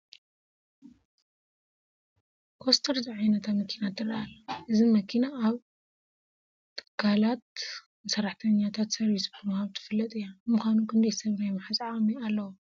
ኮስተር ዝዓይነታ መኪና ትርአ ኣላ፡፡ እዚ መኪና ኣብ ትካላት ንሰራሕተኛታት ሰርቪስ ብምሃብ ትፍለጥ እያ፡፡ ንምዃኑ ክንደይ ሰብ ናይ ምሓዝ ዓቕሚ ኣለዋ?